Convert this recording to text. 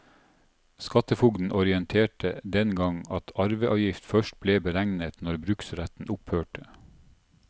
Skattefogden orienterte den gang at arveavgift først ble beregnet når bruksretten opphørte.